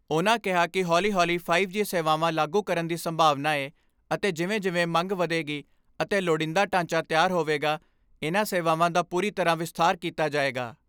ਉਨ੍ਹਾਂ ਕਿਹਾ ਕਿ ਹੌਲੀ ਹੌਲੀ ਫਾਈਵ ਜੀ ਸੇਵਾਵਾਂ ਲਾਗੂ ਕਰਨ ਦੀ ਸੰਭਾਵਨਾ ਏ ਅਤੇ ਜਿਵੇਂ ਜਿਵੇਂ ਮੰਗ ਵਧੇਗੀ ਅਤੇ ਲੁੜੀਂਦਾ ਢਾਂਚਾ ਤਿਆਰ ਹੋਵੇਗਾ ਇਨ੍ਹਾਂ ਸੇਵਾਵਾਂ ਦਾ ਪੂਰੀ ਤਰ੍ਹਾਂ ਵਿਸਥਾਰ ਕੀਤਾ ਜਾਏਗਾ।